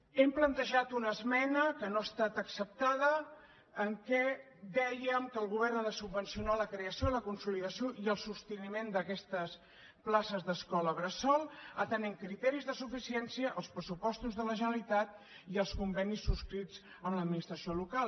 hem plantejat una esmena que no ha estat acceptada en què dèiem que el govern ha de subvencionar la crea ció la consolidació i el sosteniment d’aquestes places d’escola bressol atenent criteris de suficiència els pressupostos de la generalitat i els convenis subscrits amb l’administració local